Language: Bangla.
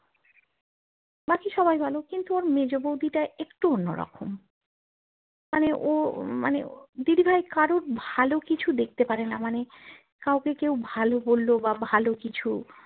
বাকি সবাই ভালো কিন্তু ওর মেজো বৌদিটা একটু অন্য রকম মানে ও মানে দিদিভাই কারোর ভালো কিছু দেখতে পারেনা মানে কাউকেও কেউ ভালো বললো বা ভালো কিছু